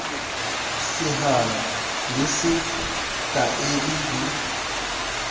sehalo le se taele di